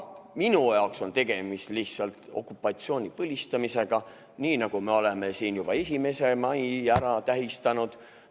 Minu jaoks on tegemist lihtsalt okupatsiooni põlistamisega, nii nagu me oleme juba 1. mai ära tähistanud.